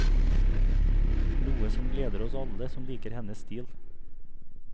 Noe som gleder oss alle som liker hennes stil.